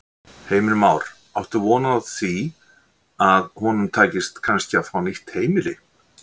Heimir Már: Áttu von á því að honum takist kannski að fá nýtt heimili?